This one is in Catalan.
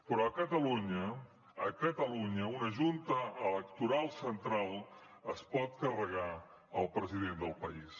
però a catalunya a catalunya una junta electoral central es pot carregar el president del país